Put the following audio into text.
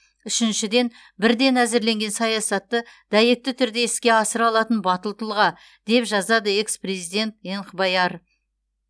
үшіншіден бірден әзірленген саясатты дәйекті түрде іске асыра алатын батыл тұлға деп жазады экс президент энхбаяр